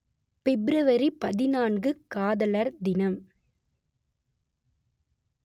பிப்ரவரி பதினான்கு காதலர் தினம்